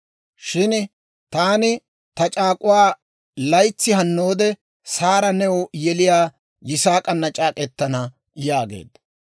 Shin taani ta c'aak'uwaa laytsi hannoode Saara new yeliyaa Yisaak'ana c'aak'k'etana» yaageedda.